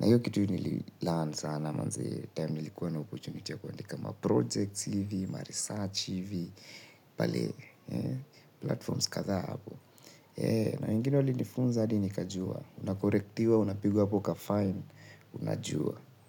Na hiyo kitu nili learn sana manze, time nilikuwa na opportunity ya kuandika ma projects hivi, maresearch hivi Pale Platforms kadhaa hapo na na wengine walinifunza hadi nikajua. Unakorektiwa, unapigwa hapo kafine. Unajua.